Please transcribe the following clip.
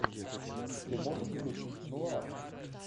ты можешь включить нуар